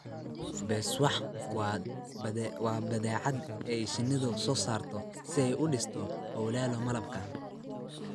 Beeswax waa badeecad ay shinnidu soo saarto si ay u dhisto awlallo malabka.